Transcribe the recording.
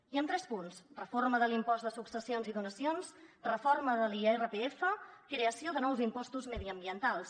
i amb tres punts reforma de l’impost de successions i donacions reforma de l’irpf creació de nous impostos mediambientals